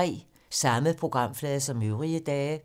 Samme programflade som øvrige dage